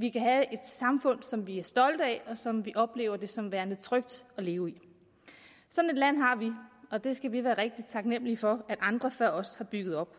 vi er et samfund som vi er stolte af og som vi oplever som værende trygt at leve i sådan et land har vi og det skal vi være rigtig taknemmelige for at andre før os har bygget op